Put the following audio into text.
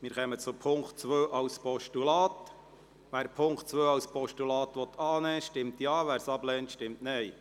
Wer den Punkt 2 als Postulat annehmen will, stimmt Ja, wer dies ablehnt, stimmt Nein.